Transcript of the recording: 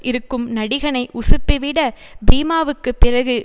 இருக்கும் நடிகனை உசுப்பிவிட பீமாவுக்குப் பிறகு